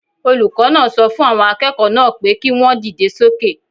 Olùkọ́ náà sọ fún àwọn akẹ́kọ̀ọ́ náà pé kí wọ́n dìde sókè